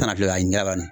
Na filɛ ka ɲɛ la